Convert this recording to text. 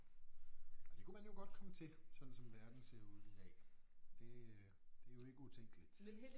Og det kunne man jo godt komme til sådan som verden ser ud i dag det øh det jo ikke utænkeligt